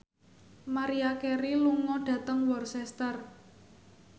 Maria Carey lunga dhateng Worcester